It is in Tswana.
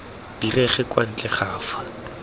direge kwa ntle ga fa